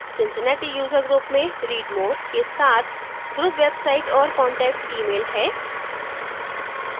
cincinnati user group में read more के साथ group website और contact email है